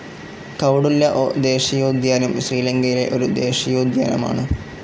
കൌഡുല്ല ദേശീയോദ്യാനം ശ്രീലങ്കയിലെ ഒരു ദേശീയോദ്യാനമാണ്.